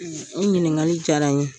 O ɲininkali diyara n ye.